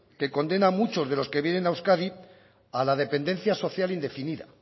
que condena a muchos de los que vienen a euskadi a la dependencia social indefinida